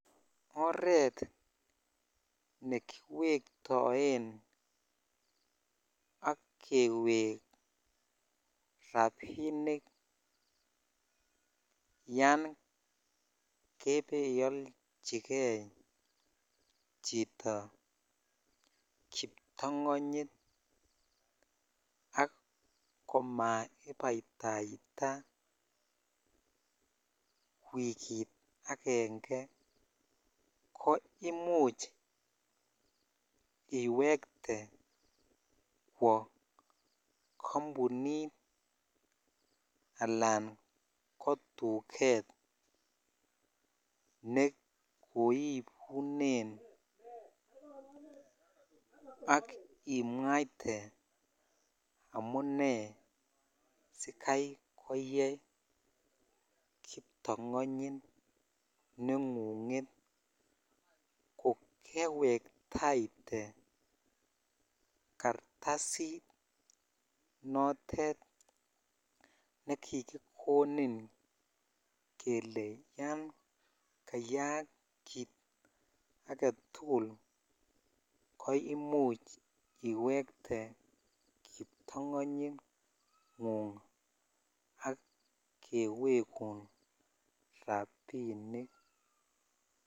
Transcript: Oret newetoen ak kewek rabinik yan kebeolchikei chito kiptongonyit ak komaibaitaitai wiki avenge ko imuch iwetee kwo kampunit alan kotuket ne kobunen ak imwaite amun sikai koyee kiptongonyit nengunget lo kewktaitee kartasit notet nekikikonin kele yan kayak kit agetukl ko imuch iwekte kiptongonyit ngung ak kewegun rabinik.